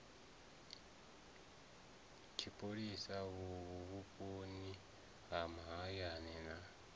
tshipholisa vhuponi ha mahayani na